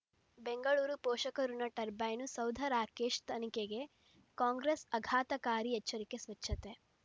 ಬೆಂಗಳೂರು ಪೋಷಕಋಣ ಟರ್ಬೈನು ಸೌಧ ರಾಕೇಶ್ ತನಿಖೆಗೆ ಕಾಂಗ್ರೆಸ್ ಆಘಾತಕಾರಿ ಎಚ್ಚರಿಕೆ ಸ್ವಚ್ಛತೆ